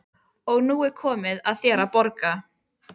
Ég á ekki eitt einasta aukatekið orð!